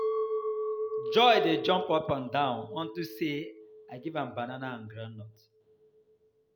Joy dey jump up and down unto Say I give am banana and groundnut.